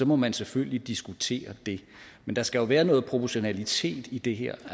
må man selvfølgelig diskutere det men der skal jo være noget proportionalitet i det her